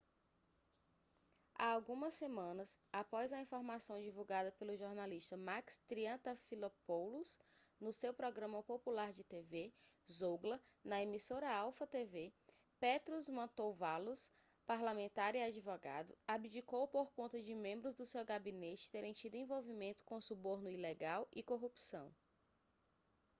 há algumas semanas após a informação divulgada pelo jornalista makis triantafylopoulos no seu programa popular de tv zougla na emissora alpha tv petros mantouvalos parlamentar e advogado abdicou por conta de membros do seu gabinete terem tido envolvimento com suborno ilegal e corrupção